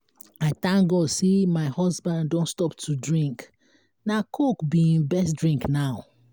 i thank god say my husband don stop to drink na coke be im best drink now